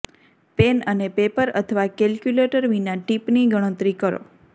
pen અને paper અથવા calculator વિના ટીપની ગણતરી કરો